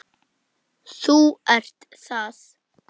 Þú ert það.